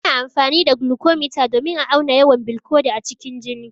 Ana amfani da glucometer domin a auna yawan bilcodi a cikin jini.